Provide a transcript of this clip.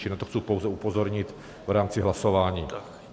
Čili na to chci pouze upozornit v rámci hlasování.